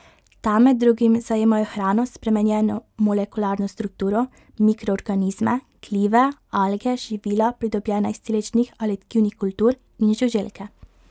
Ta med drugim zajemajo hrano s spremenjeno molekularno strukturo, mikroorganizme, glive, alge, živila, pridobljena iz celičnih ali tkivnih kultur, in žuželke.